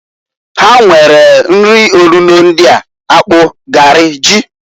Ha nwere nri onuno ndịa, akpụ, garị, ji.